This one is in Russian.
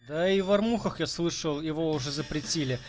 да и в армухах я слышал его уже запретили